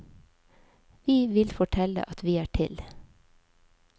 Vi vil fortelle at vi er til.